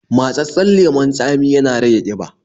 Matsatssen lemon tsami ya na rage ƙiba